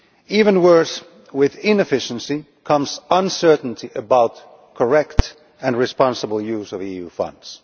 Even worse, with inefficiency comes uncertainty about correct and responsible use of EU funds.